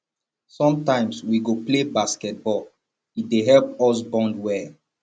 sometimes we go play basketball e dey help us bond well